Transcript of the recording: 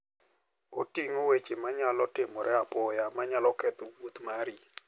Oting'o weche manyalo timore apoya manyalo ketho wuoth mari.